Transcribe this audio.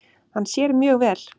Hann sér mjög vel.